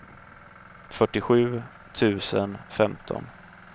fyrtiosju tusen femton